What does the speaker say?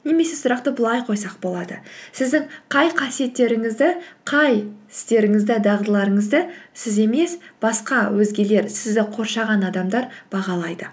немесе сұрақты былай қойсақ болады сіздің қай қасиеттеріңізді қай істеріңізді дағдыларыңызды сіз емес басқа өзгелер сізді қоршаған адамдар бағалайды